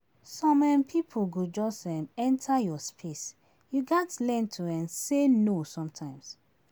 Some um pipo go just um enter your space; you gatz learn to um say no sometimes.